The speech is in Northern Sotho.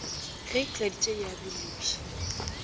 ge e tladitše ya biloša